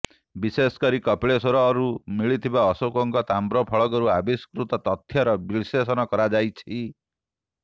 ବିଶେଷକରି କପିଳେଶ୍ବରରୁ ମିଳିଥିବା ଅଶୋକଙ୍କ ତାମ୍ରଫଳକରୁ ଆବିଷ୍କୃତ ତଥ୍ୟର ବିଶ୍ଳେଷଣ କରାଯାଇଛି